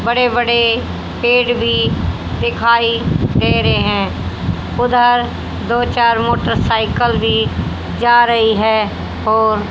बड़े बड़े पेड़ भी दिखाई दे रहे हैं उधर दो चार मोटरसाइकल भी जा रही है और--